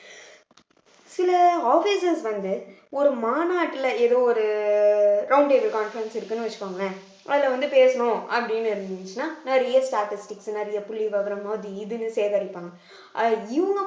சில officers வந்து ஒரு மாநாட்டுல ஏதோ ஒரு round table conference இருக்குன்னு வச்சுக்கோங்களேன் அதுல வந்து பேசணும் அப்படின்னு இருந்துச்சுன்னா நிறைய statistics நிறைய புள்ளிவிவரம் அது இதுன்னு சேகரிப்பாங்க அஹ் இவங்க மட்டும்